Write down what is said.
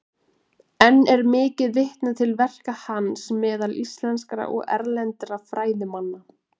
Enn er mikið vitnað til verka hans meðal íslenskra og erlendra fræðimanna.